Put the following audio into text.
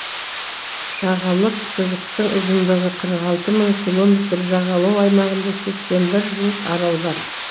жағалық сызықтың ұзындығы қырық алты мың километр жағалау аймағында сексен бір жуық арал бар